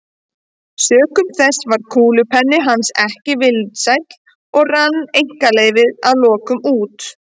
Sökum þess varð kúlupenni hans ekki vinsæll og rann einkaleyfið að lokum út.